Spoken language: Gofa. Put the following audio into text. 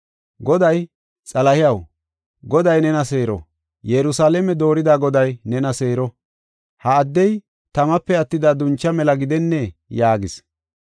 Goday, “Xalahiyaw, Goday nena seero; Yerusalaame doorida Goday nena seero! Ha addey tamape attida duncha mela gidennee?” yaagis.